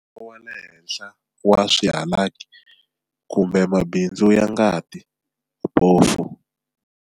Ntsengo wa le henhla wa swihalaki, kumbe mabundzu ya ngati, bofu.